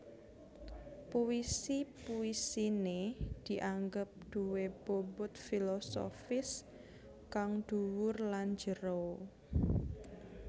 Puisi puisiné dianggep duwé bobot filosofis kang dhuwur lan jero